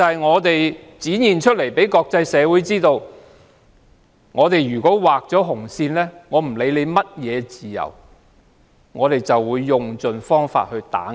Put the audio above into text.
我們要讓國際社會知道，如果畫上紅線，無論涉及甚麼自由，當局都會設法打壓。